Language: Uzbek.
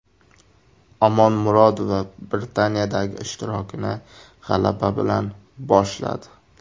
Omonmurodova Britaniyadagi ishtirokini g‘alaba bilan boshladi.